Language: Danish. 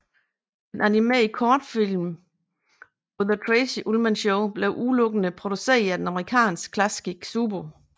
De animerede kortfilm på The Tracey Ullman Show blev udelukkende produceret af det amerikanske Klasky Csupo